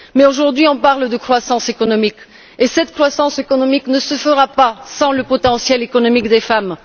Mais aujourd'hui, on parle de croissance économique et celle ci ne se fera pas sans le potentiel économique des femmes.